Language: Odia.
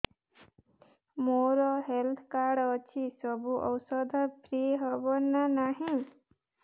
ମୋର ହେଲ୍ଥ କାର୍ଡ ଅଛି ସବୁ ଔଷଧ ଫ୍ରି ହବ ନା ନାହିଁ